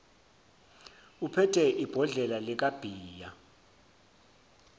uphethe ibhodlela likabhiya